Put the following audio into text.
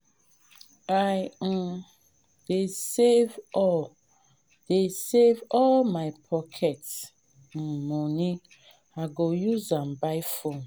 i um dey save all dey save all my pocket um moni i go use am buy phone.